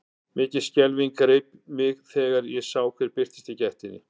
Mikil skelfing greip mig þegar ég sá hver birtist í gættinni.